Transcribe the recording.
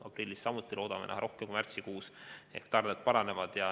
Aprillis loodame omakorda näha rohkem kui märtsikuus ehk tarned paranevad.